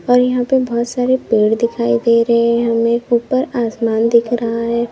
और यहां पे बहुत सारे पेड़ दिखाई दे रहे हैं हमें ऊपर आसमान दिख रहा है।